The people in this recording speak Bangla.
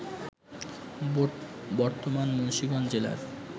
বর্তমান মুন্সিগঞ্জ জেলার